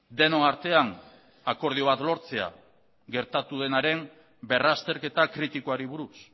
denon artean akordio bat lortzea gertatu denaren berrazterketa kritikoari buruz